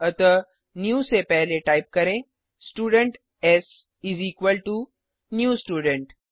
अतः न्यू से पहले टाइप करें students is equal to new student